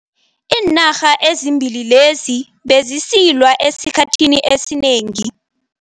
Iinarha ezimbili lezi bezisilwa esikhathini esinengi.